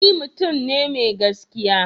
Ni mutum ne mai gaskiya.